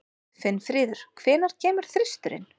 Finnfríður, hvenær kemur þristurinn?